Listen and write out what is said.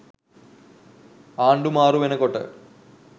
ආණ්ඩු මාරු වෙනකොට